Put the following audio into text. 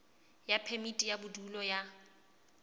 ya phemiti ya bodulo ya